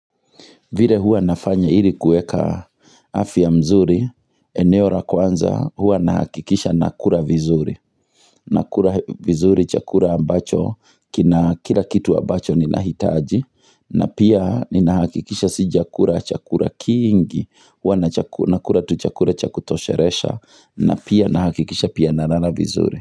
Vile huwa nafanya ili kueka afya mzuri, eneo ra kwanza huwa nahakikisha na kura vizuri, na kura vizuri chakura ambacho, kila kitu ambacho ni nahitaji, na pia ni na hakikisha si jakura chakura kiingi, hua na cha nakura tu chakura cha kutosheresha, na pia na hakikisha pia nalala vizuri.